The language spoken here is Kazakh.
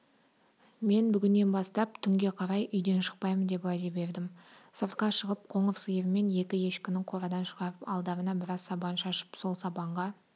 мен бүгіннен бастап түнге қарай үйден шықпаймын деп уәде бердім сыртқа шығып қоңыр сиыр мен екі ешкіні қорадан шығарып алдарына біраз сабан шашып сол сабанға